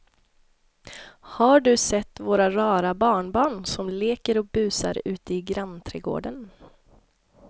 Har du sett våra rara barnbarn som leker och busar ute i grannträdgården!